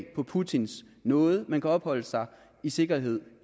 på putins nåde men kan opholde sig i sikkerhed